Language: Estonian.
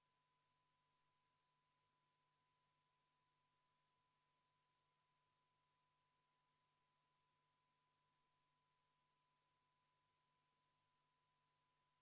Juhataja peab tegema väikese täpsustuse.